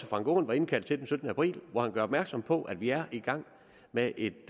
frank aaen var indkaldt til den syttende april gør opmærksom på at vi er i gang med et